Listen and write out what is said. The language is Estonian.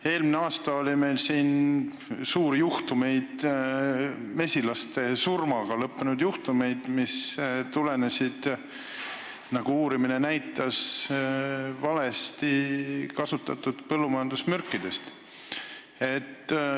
Eelmisel aastal esines meil mesilaste surmaga lõppenud juhtumeid, mis tulenesid, nagu uurimine näitas, valesti kasutatud põllumajandusmürkidest.